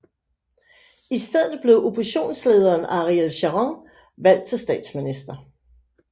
I stedet blev oppositionslederen Ariel Sharon valgt til statsminister